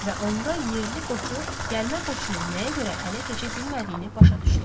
Və onda yerli Qoçu gəlmə Qoçunun nəyə görə ələ keçə bilmədiyini başa düşdü.